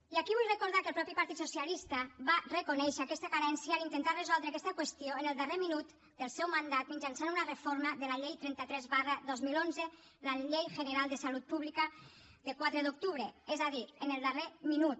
i aquí vull recordar que el mateix partit socialista va reconèixer aquesta carència a l’intentar resoldre aquesta qüestió en el darrer minut del seu mandat mitjançant una reforma de la llei trenta tres dos mil onze la llei general de salud pública de quatre d’octubre és a dir en el darrer minut